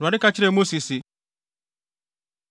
Awurade ka kyerɛɛ Mose se,